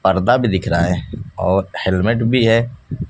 पर्दा भी दिख रहा है और हेलमेट भी है।